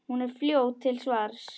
Hún er fljót til svars.